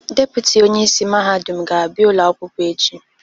Depụtị onye isi mahadum ga-abịa ụlọ akwụkwọ echi.